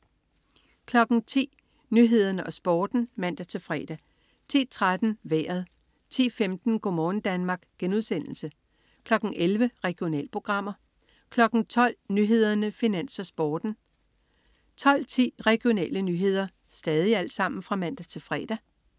10.00 Nyhederne og Sporten (man-fre) 10.13 Vejret (man-fre) 10.15 Go' morgen Danmark* (man-fre) 11.00 Regionalprogrammer (man-fre) 12.00 Nyhederne, Finans, Sporten (man-fre) 12.10 Regionale nyheder (man-fre)